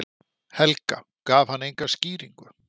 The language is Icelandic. Helga: Gaf hann enga skýringu?